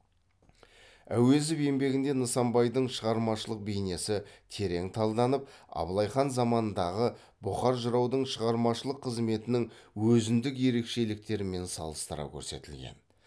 әуезов еңбегінде нысанбайдың шығармашылық бейнесі терең талданып абылай хан заманындағы бұқар жыраудың шығармашылык қызметінің өзіндік ерекшеліктерімен салыстыра көрсетілген